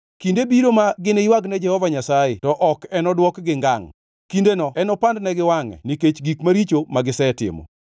Kinde biro ma giniywag ne Jehova Nyasaye to ok enodwokgi ngangʼ. Kindeno enopandnegi wangʼe nikech gik maricho magisetimo.